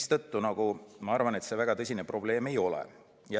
Seetõttu ma arvan, et see väga tõsine probleem ei ole.